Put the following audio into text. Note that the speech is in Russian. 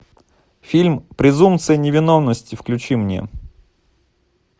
фильм презумпция невиновности включи мне